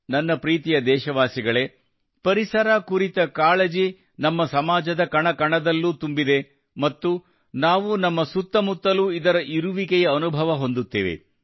ನನ್ನ ಪ್ರೀತಿಯ ದೇಶವಾಸಿಗಳೇ ಪರಿಸರ ಕುರಿತ ಕಾಳಜಿ ನಮ್ಮ ಸಮಾಜದ ಕಣ ಕಣದಲ್ಲೂ ತುಂಬಿದೆ ಮತ್ತು ನಾವು ನಮ್ಮ ಸುತ್ತಮುತ್ತಲೂ ಇದರ ಇರುವಿಕೆಯ ಅನುಭವ ಹೊಂದುತ್ತೇವೆ